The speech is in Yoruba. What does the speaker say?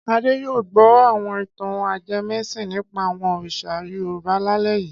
Adé yóò gbọ́ àwọn ìtàn ajẹmẹ́sìn nípa àwọn òrìṣà Yorùbá lálẹ́ yìí.